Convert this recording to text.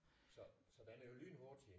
Så så den er jo lynhurtig